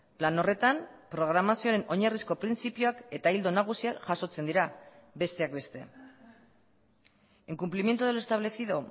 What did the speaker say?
plan horretan programazioaren oinarrizko printzipioak eta ildo nagusiak jasotzen dira besteak beste en cumplimiento de lo establecido